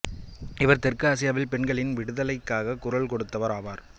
இவர் தெற்கு ஆசியாவில் பெண்களின் விட்டுதலைக்காக குரல் கொடுத்தவர் ஆவார்